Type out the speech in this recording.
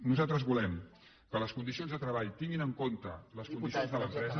nosaltres volem que les condicions de treball tinguin en compte les condicions de l’empresa